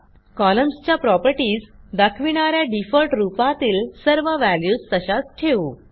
कॉलम्सच्या properties दाखविणा या default रूपातील सर्व व्हॅल्यूज तशाच ठेवू